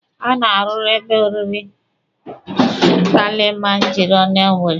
A rụrụ ebe oriri Kilimanjaro na Owere.